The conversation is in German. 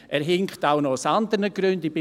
Er hinkt auch noch aus anderen Gründen: